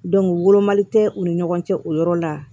wolomali tɛ u ni ɲɔgɔn cɛ o yɔrɔ la